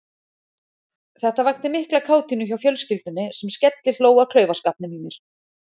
Þetta vakti mikla kátínu hjá fjölskyldunni sem skellihló að klaufaskapnum í mér.